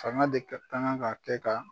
Fanga de ka kan kan ka kɛ ka